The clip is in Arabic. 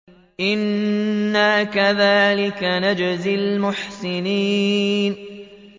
إِنَّا كَذَٰلِكَ نَجْزِي الْمُحْسِنِينَ